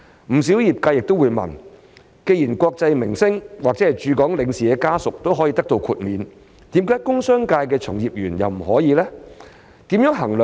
不少業界亦會問，既然國際明星或駐港領事的家屬也可以獲得豁免，為何工商界的從業員卻不可以？